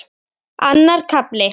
Annar kafli